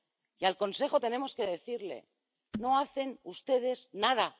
Y al Consejo tenemos que decirle No hacen ustedes nada.